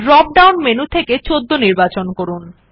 drop down menu থেকে ১৪ নির্বাচন করুন